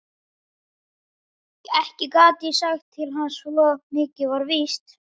Ekki gat ég sagt til hans, svo mikið var víst.